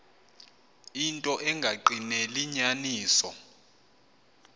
into engagqineli inyaniso